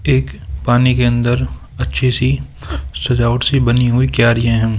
एक पानी के अंदर अच्छी सी सजावट सी बनी हुई क्यारियां है।